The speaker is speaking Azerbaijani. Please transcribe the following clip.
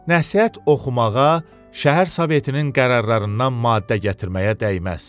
Nəsihət oxumağa, şəhər sovetinin qərarlarından maddə gətirməyə dəyməz.